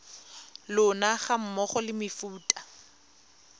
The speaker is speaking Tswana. lona ga mmogo le mefuta